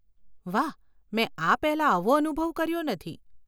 વાહ. મેં આ પહેલાં આવો અનુભવ કર્યો નથી.